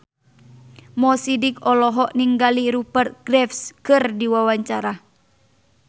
Mo Sidik olohok ningali Rupert Graves keur diwawancara